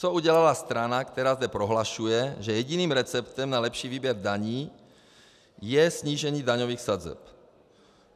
Co udělala strana, která zde prohlašuje, že jediným receptem na lepší výběr daní je snížení daňových sazeb?